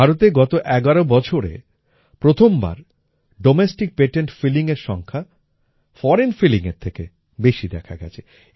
ভারতে গত এগারো বছরে প্রথমবার ডোমেস্টিক পেটেন্ট Fillingএর সংখ্যা ফোরেইন Fillingএর থেকে বেশি দেখা গেছে